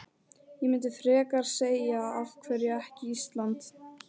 Ég myndi frekar segja af hverju ekki Ísland?